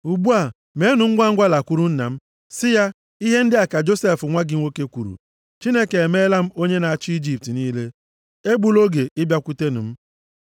Ugbu a, meenụ ngwa lakwuru nna m, sị ya, ‘Ihe ndị a ka Josef nwa gị nwoke kwuru, Chineke emeela m onye na-achị Ijipt niile. Egbula oge ịbịakwute m.